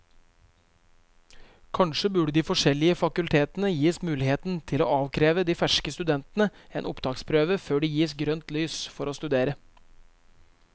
Kanskje burde de forskjellige fakultetene gis muligheten til å avkreve de ferske studentene en opptaksprøve før de gis grønt lys for å studere.